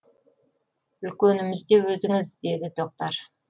үлкеніміз де өзіңіз деді тоқтар